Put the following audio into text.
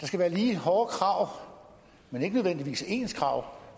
skal være lige hårde krav men ikke nødvendigvis ens krav